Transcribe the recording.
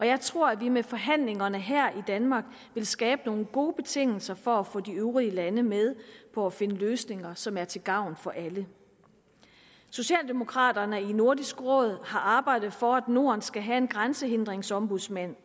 jeg tror at vi med forhandlingerne her i danmark vil skabe nogle gode betingelser for at få de øvrige lande med på at finde løsninger som er til gavn for alle socialdemokraterne i nordisk råd har arbejdet for at norden skal have en grænsehindringsombudsmand